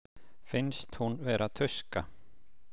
Finnst hún vera tuska.